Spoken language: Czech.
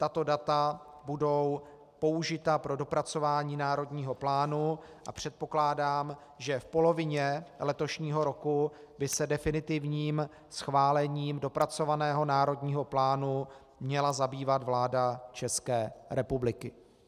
Tato data budou použita pro dopracování národního plánu a předpokládám, že v polovině letošního roku by se definitivním schválením dopracovaného národního plánu měla zabývat vláda České republiky.